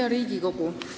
Hea Riigikogu!